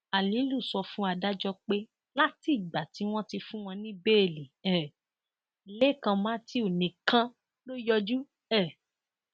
alilu sọ fún adájọ pé látìgbà tí wọn ti fún wọn ní bẹẹlí um lẹkàn matthew nìkan ló yọjú um